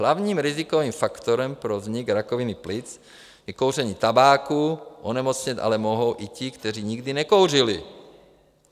Hlavním rizikovým faktorem pro vznik rakoviny plic je kouření tabáku, onemocnět ale mohou i ti, kteří nikdy nekouřili.